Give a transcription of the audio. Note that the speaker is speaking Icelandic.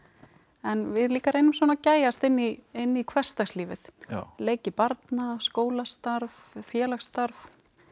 en við líka reynum svona að gægjast inn í inn í hversdagslífið leiki barna skólastarf félagsstarf